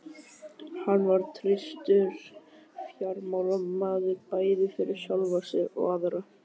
Hann var traustur fjármálamaður bæði fyrir sjálfan sig og aðra.